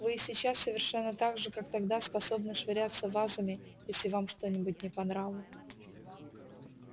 вы и сейчас совершенно так же как тогда способны швыряться вазами если вам что-нибудь не по нраву